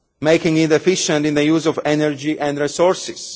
making it efficient in the use of energy and resources